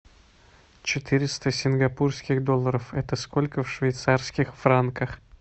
четыреста сингапурских долларов это сколько в швейцарских франках